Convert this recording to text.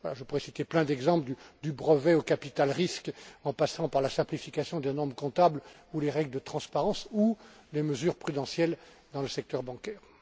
Enfin, je pourrais citer plein d'exemples, du brevet au capital risque en passant par la simplification des normes comptables, les règles de transparence ou les mesures prudentielles dans le secteur bancaire.